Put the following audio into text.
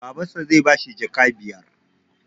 Baban sa zai bashi jaka biyar